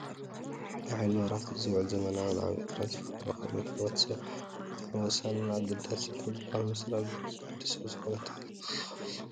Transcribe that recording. ንሓይሊ መብራህቲ ዝውዕል ዘመናውን ዓብይን ትራንስፎርሞር ኮይኑ ኣብ ሂወት ሕ/ሰብ ብጣዕሚ ወሳንን አገዳስን ካብ ዝበሃሉ መሰረታዊ ድሌት ወዲ ሰብ ስለ ዝኾነ ተተኺሉ ኣሎ፡፡